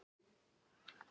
Egill Ingi.